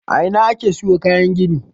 A ina ake siyo kayan gini?